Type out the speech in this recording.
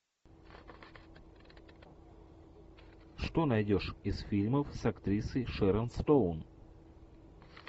что найдешь из фильмов с актрисой шэрон стоун